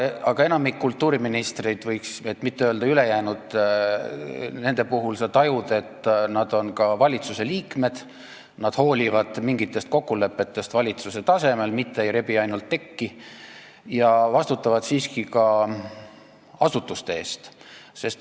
Aga enamiku kultuuriministrite – et mitte öelda: ülejäänute – puhul sa tajud, et nad on ka valitsusliikmed, nad hoolivad mingitest kokkulepetest valitsuse tasemel, mitte ei rebi ainult tekki, ja vastutavad siiski ka asutuste eest.